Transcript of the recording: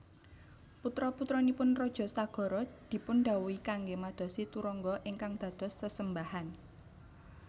Putra putranipun Raja Sagara dipundhawuhi kanggé madosi turangga ingkang dados sesembahan